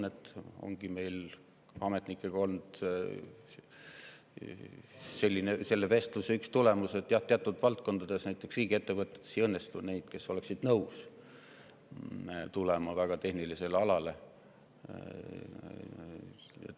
Ametnikega peetud vestluse üks tulemus oligi, et jah, teatud valdkondades, näiteks riigiettevõtetes, ei õnnestu leida sobivaid naiskandidaate, kes oleksid nõus tulema väga tehnilistele aladele.